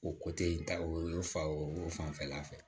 O in ta o ye fa o fanfɛla fɛ